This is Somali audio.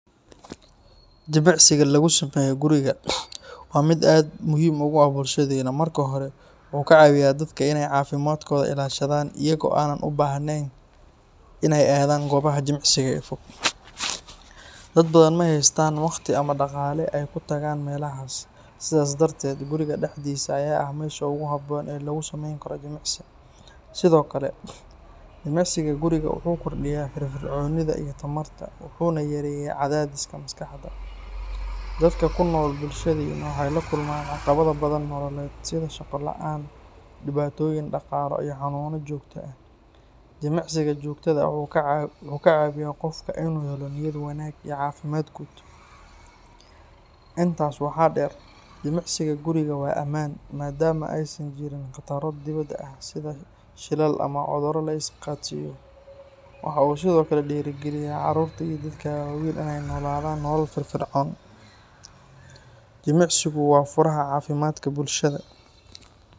Jimicsiga lagu sameeyo guriga waa mid aad muhiim ugu ah bulshadeenna. Marka hore, wuxuu ka caawiyaa dadka in ay caafimaadkooda ilaashadaan iyaga oo aan u baahneyn in ay aadaan goobaha jimicsiga ee fog. Dad badan ma haystaan waqti ama dhaqaale ay ku tagaan meelahaas, sidaas darteed, guriga dhexdiisa ayaa ah meesha ugu habboon ee lagu sameyn karo jimicsi. Sidoo kale, jimicsiga guriga wuxuu kordhiyaa firfircoonida iyo tamarta, wuxuuna yareeyaa cadaadiska maskaxda. Dadka ku nool bulshadeenna waxay la kulmaan caqabado badan nololeed, sida shaqo la’aan, dhibaatooyin dhaqaale iyo xanuuno joogto ah. Jimicsiga joogtada ah wuxuu ka caawiyaa qofka in uu helo niyad wanaag iyo caafimaad guud. Intaas waxaa dheer, jimicsiga guriga waa ammaan, maadaama aysan jirin khataro dibadda ah sida shilal ama cudurro la is qaadsiiyo. Waxa uu sidoo kale dhiirrigeliyaa carruurta iyo dadka waaweyn in ay ku noolaadaan nolol firfircoon. Jimicsigu waa furaha caafimaadka bulshada.